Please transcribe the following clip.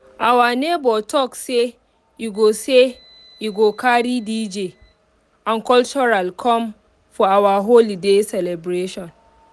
our neighbor talk say you go say you go carry dj and cultural come for our holiday celebration